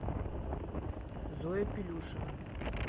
зоя пилюшина